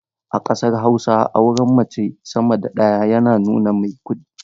A kasar Hausa auren mace sama da ɗaya yana nuna mai kudi.